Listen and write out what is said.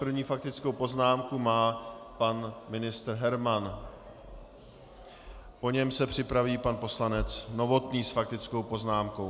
První faktickou poznámku má pan ministr Herman, po něm se připraví pan poslanec Novotný s faktickou poznámkou.